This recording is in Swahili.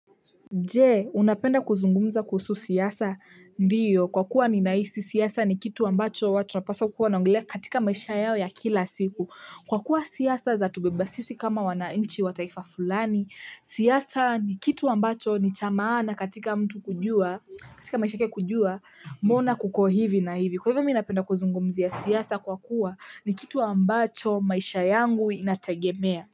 Je, unapenda kuzungumza kuhusu siasa? Ndiyo. Kwa kuwa ni nahisi, siasa ni kitu ambacho watu wanapaswa kuwawa naongelea katika maisha yao ya kila siku. Kwa kuwa siasa za tubebasisi kama wananchi wataifa fulani, siasa ni kitu ambacho ni chamaana katika mtu kujua, katika maisha yake kujua, mbona kuko hivi na hivi. Kwa hivyo miminapenda kuzungumzia siasa kwa kuwa ni kitu ambacho maisha yangu inategemea.